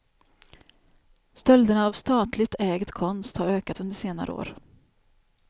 Stölderna av statligt ägd konst har ökat under senare år.